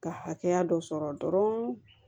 Ka hakɛya dɔ sɔrɔ dɔrɔn